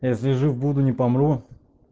если жив буду не помру